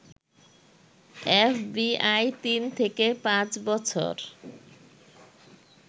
FBI তিন থেকে পাঁচ বছর